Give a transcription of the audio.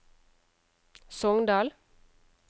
Sogndal